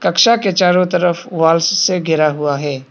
कक्षा के चारों तरफ वॉल से घिरा हुआ है।